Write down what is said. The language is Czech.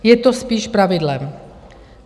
Je to spíš pravidlem.